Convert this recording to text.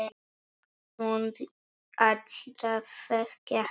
Mundi alltaf þekkja hann.